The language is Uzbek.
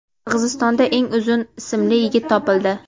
Qirg‘izistonda eng uzun ismli yigit topildi.